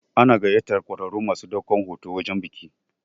Ana gayyatar ƙwararrun masu ɗaukan hoto wajen biki.